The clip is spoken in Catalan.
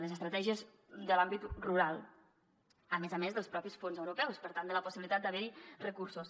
les estratègies de l’àmbit rural a més a més dels mateixos fons europeus per tant de la possibilitat d’haver hi recursos